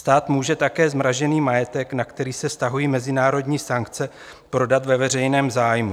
Stát může také zmražený majetek, na který se vztahují mezinárodní sankce, prodat ve veřejném zájmu.